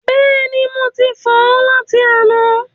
Bẹ́ẹ̀ni, mo ti fọ̀ ọ́ láti àná.